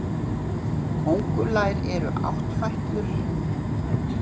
Kóngulær eru áttfætlur.